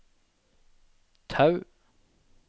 Tau